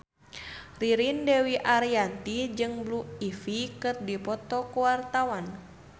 Ririn Dwi Ariyanti jeung Blue Ivy keur dipoto ku wartawan